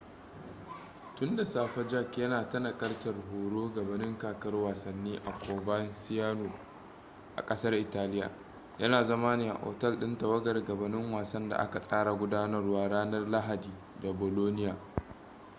tun da safe jarque yana ta nakaltar horo gabanin kakar wasannin a coverciano a kasar italiya yana zama ne a otel din tawagar gabanin wasan da aka tsara gudanarwa ranar lahadi da bolonia